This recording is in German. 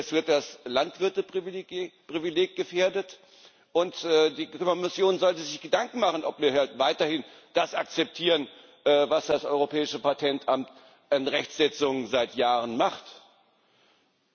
Es wird das Landwirte Privileg gefährdet, und die Kommission sollte sich Gedanken machen, ob wir weiterhin das akzeptieren, was das Europäische Patentamt an Rechtsetzung seit Jahren tut.